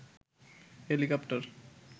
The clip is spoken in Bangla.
হেলিকপ্টার